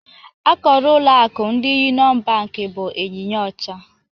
Akara ụlọ akụ ndi Yuniọn bank bụ ịnyịnya ọcha